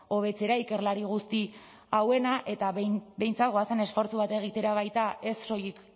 hobetzera ikerlari guzti hauena eta behintzat goazen esfortzu bat egitera baita ez soilik